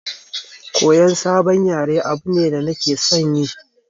Koyan sabon yare abu ne da nake son yi